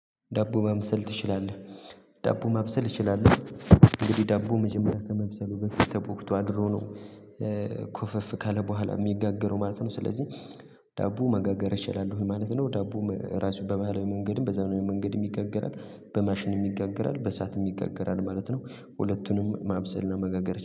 ዳቦ ማብሰል ትችላለህ። ዳቦ ማብሰል እችላለሁ። እንግዲህ ዳቦ መጀመሪያ ከመብሰሉ በፊት ተቦክቶ አድሮ ነው ኮፈፍ ካለ በኋላ የሚጋገረው ማለት ነው። ስለዚህ ዳቦ መጋገር እችላለሁ ማለት ነው። ዳቦ ራሱ በባህላዊ መንገድም በዛኔ መንገድም ይጋገራል በማሽንም ይጋገራል በእሳትም ይጋገራል ማለት ነው። ሁለቱንም ማብሰል እና መጋገር